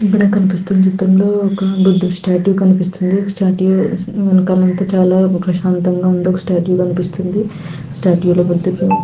ఇక్కడ కనిపిస్తున చిత్రం లో వక బుద్దుడి స్టాచ్యూ కనిపెస్తునది స్టాచ్యూ వెనకాల అంతా చాలా ప్రశాంతంగా ఉంది ఒక స్టాచ్యూ కనిపిస్తుంది. స్టాట్యూలో ఒక డిఫరెం --